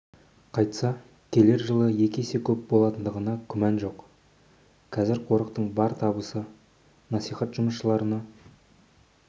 қайтса келер жылы екі есе көп болатындығына күмәнім жоқ қазір қорықтың бар табысы насихат жұмыстарына